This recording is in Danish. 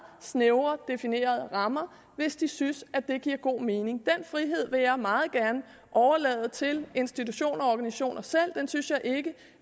snævert definerede rammer hvis de synes det giver god mening den frihed vil jeg meget gerne overlade til institutioner og organisationer selv den synes